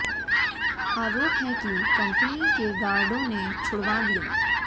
आरोप है कि कम्पनी के गार्डों ने छुड़वा दिया